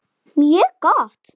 Mjög gott!